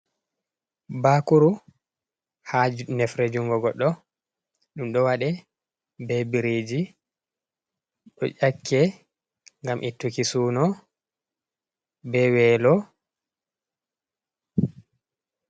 Bakuru ha nefre jungo goddo dum do wade be bireji do ƴakke gam ittuki suno be welo.